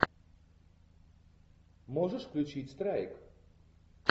можешь включить страйк